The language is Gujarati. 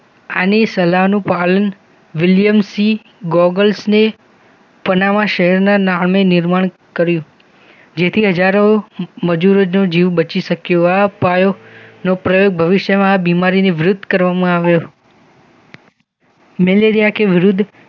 પનામા શહેરના નામે નિર્માણ કર્યું. મજૂર જીવ બચી શક્યો આ ઉપાયો પ્રયોગ ભવિષ્યમાં બીમારીને વિરોધ કરવામાં આવ્યો મિલિયા કે વિરુદ્ધ.